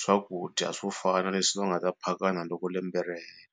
swakudya swo fana leswi va nga ta phakana loko lembe ri hela.